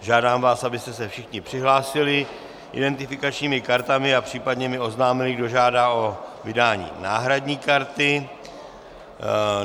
Žádám vás, abyste se všichni přihlásili identifikačními kartami a případně mi oznámili, kdo žádá o vydání náhradní karty.